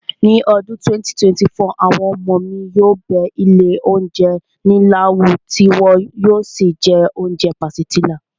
Ní ọdún 2024, àwọn ọmọ mi yóò bẹ ilé oúnjẹ ńlá wò tí wọn yóò sì jẹ oúnjẹ pàsìtílà